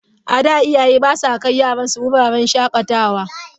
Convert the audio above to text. A da, iyaye ba sa kai yaransu wuraren shakatawa.